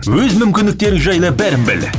өз мүмкіндіктерің жайлы бәрін біл